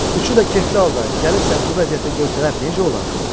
Üçü də kefli halda gəlib səni bu vəziyyətdə görsələr necə olar?